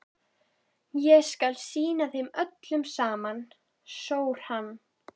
Ég skal sýna þeim öllum saman, sór hann.